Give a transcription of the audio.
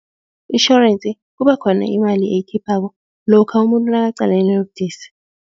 Itjhorensi kuba khona imali eyikhiphako lokha umuntu nakaqalene nobudisi.